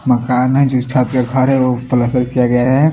मकान है जो छत पे खड़े हो पलस्तर किया गया है।